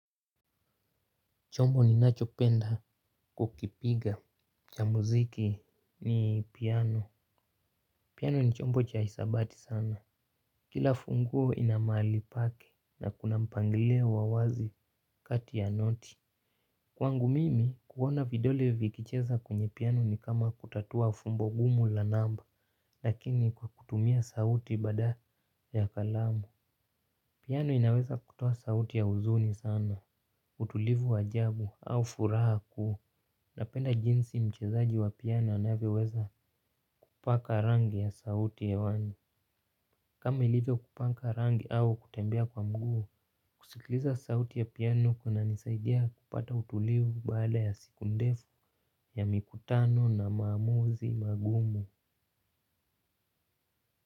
Chombo ninachopenda kukipiga cha muziki ni piano. Piano ni chombo cha hesabati sana. Kila funguo ina mahali pake na kuna mpangilio wa wazi kati ya noti. Kwangu mimi kuona vidole vikicheza kwenye piano ni kama kutatua fumbo ngumu la namba lakini kwa kutumia sauti badala ya kalamu. Piano inaweza kutoa sauti ya huzuni sana utulivu wa ajabu au furaha. Napenda jinsi mchezaji wa piano anavyoweza kupaka rangi ya sauti hewani. Kama ilivyokupaka rangi au kutembea kwa mguu. Kusikiliza sauti ya piano kunanisaidia kupata utulivu baada ya siku ndefu ya mikutano na maamuzi magumu.